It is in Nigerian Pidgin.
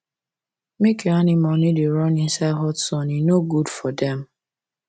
make your animal no da run inside hot sun e no good for dem